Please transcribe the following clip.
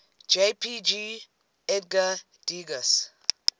jpg edgar degas